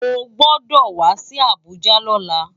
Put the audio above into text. Ó gbòdò wá si Abuja lòlá